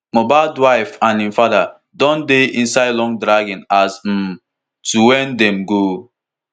mohbad wife and im father don dey inside long dragging as um to wen dem go